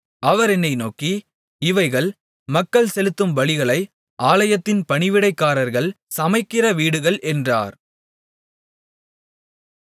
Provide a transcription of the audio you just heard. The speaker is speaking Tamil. அவர் என்னை நோக்கி இவைகள் மக்கள் செலுத்தும் பலிகளை ஆலயத்தின் பணிவிடைக்காரர்கள் சமைக்கிற வீடுகள் என்றார்